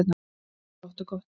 Ofsalega áttu gott.